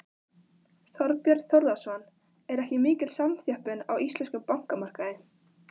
Þorbjörn Þórðarson: Er ekki mikil samþjöppun á íslenskum bankamarkaði?